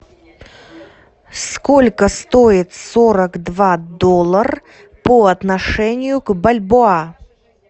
сколько стоит сорок два доллар по отношению к бальбоа